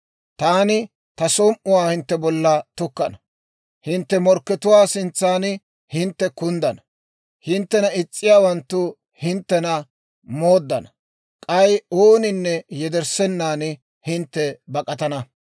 Taani ta som"uwaa hintte bolla tukkana; hintte morkkatuwaa sintsan hintte kunddana; hinttena is's'iiyaawanttu hinttena mooddana; k'ay ooninne yederssenan hintte bak'atana.